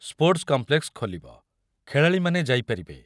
Sports complex ଖୋଲିବ, ଖେଳାଳୀମାନେ ଯାଇପାରିବେ।